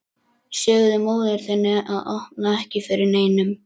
Segðu móður þinni að opna ekki fyrir neinum.